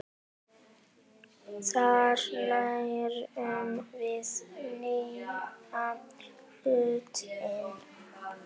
Þar lærum við nýja hluti.